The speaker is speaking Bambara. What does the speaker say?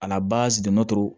A la basidi